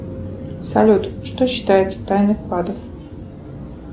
салют что считается тайной вклада